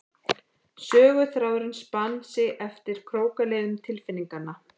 Söguþráðurinn spann sig eftir krókaleiðum tilfinninganna.